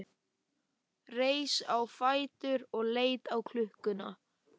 Reis á fætur og leit á klukkuna.